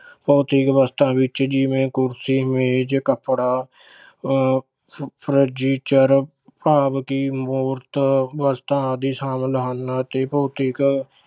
ਭੋਤਿਕ ਵਸਤਾਂ ਵਿੱਚ ਜਿਵੇਂ ਕੁਰਸੀ, ਮੇਜ, ਕੱਪੜਾ ਅਹ ਫ~ ਭਾਵ ਕਿ ਮੂਰਤ ਵਸਤਾਂ ਆਦਿ ਸ਼ਾਮਿਲ ਹਨ, ਅਤੇ ਭੋਤਿਕ